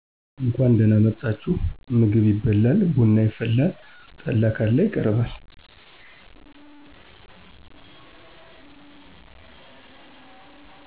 እንኳን ደህና መጣችሁ ምግብ ይበላል ብና ይፈላል ጠላ ካለ ይቀርባል